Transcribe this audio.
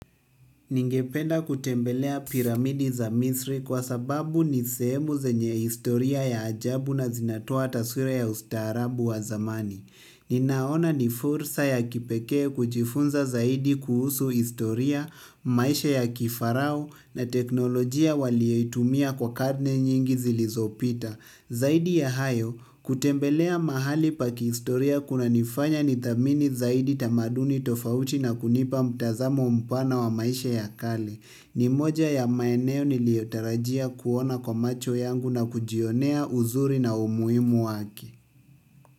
Ningependa kutembelea piramidi za misri kwa sababu ni sehemu zenye historia ya ajabu na zinatoa taswira ya ustaarabu wa zamani. Ninaona ni fursa ya kipekee kujifunza zaidi kuhusu historia, maisha ya kifarao na teknolojia waliyeitumia kwa karne nyingi zilizopita. Zaidi ya hayo, kutembelea mahali pakihistoria kunanifanya nithamini zaidi tamaduni tofauti na kunipa mtazamo mpana wa maisha ya kale. Ni moja ya maeneo niliyotarajia kuona kwa macho yangu na kujionea uzuri na umuhimu wake.